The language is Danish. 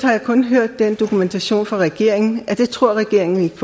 kun hørt den dokumentation fra regeringen at det tror regeringen ikke